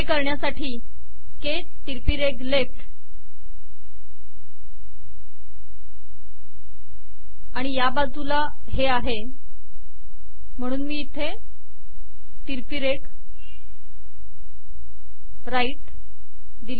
हे करण्यासाठी के तिरकी रेघ लेफ्ट आणि या बाजूला हे आहे म्हणून मी इथे तिरकी रेघ दिली